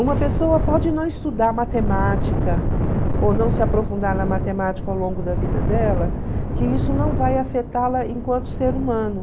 Uma pessoa pode não estudar matemática ou não se aprofundar na matemática ao longo da vida dela, que isso não vai afetá-la enquanto ser humano.